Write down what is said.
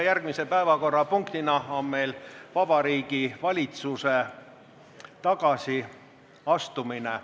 Järgmine päevakorrapunkt on Vabariigi Valitsuse tagasiastumine.